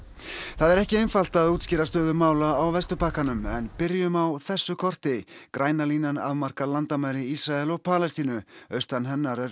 það er ekki einfalt að útskýra stöðu mála á Vesturbakkanum en byrjum á þessu korti græna línan afmarkar landamæri Ísraels og Palestínu austan hennar er